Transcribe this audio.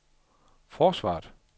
forsvaret